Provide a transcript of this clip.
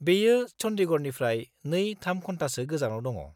-बेयो चन्डीगढ़निफ्राय 2-3 घन्टासो गोजानाव दङ।